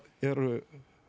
eru